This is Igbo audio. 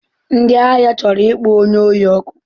Ndị ahịa chọrọ ịkpọ onye ohi ọkụ.